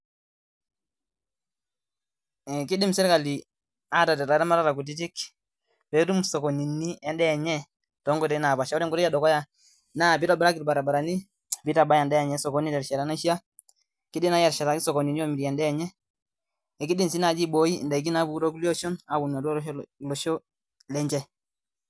Kidim serkali aterrt iramatata kutitik peetum sokonini endaa enye too nkoitoi napaasha , ore enkotoi enedukuya naa piitobiraki ilbaribarani nitabaya osokonini te rishata naishaa, kidim naaji aitobiraki sokonini oomirie endaa enye kidim sii naaii abooi daikin napunu too kulie oshon apuonu olosho lenche .